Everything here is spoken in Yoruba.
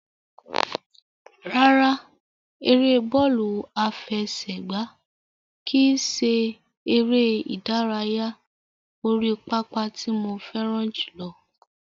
Rárá, ère bọ́ọ̀lù àfẹsẹ̀gbá kìí ṣe ère ìdárayá orí pápá tí mo fẹ́ràn jùlọ.